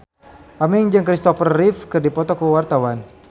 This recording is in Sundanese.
Aming jeung Christopher Reeve keur dipoto ku wartawan